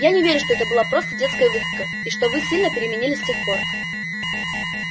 я не верю что это была просто детская выходка и что вы сильно переменились с тех пор